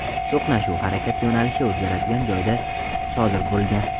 To‘qnashuv harakat yo‘nalishi o‘zgaradigan joyda sodir bo‘lgan.